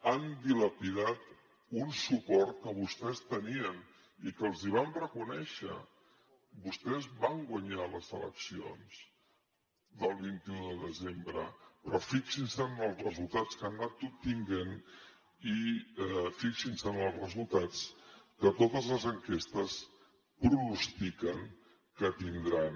han dilapidat un suport que vostès tenien i que els el vam reconèixer vostès van guanyar les eleccions del vint un de desembre però fixin se en els resultats que han anat obtenint i fixin se en els resultats que totes les enquestes pronostiquen que tindran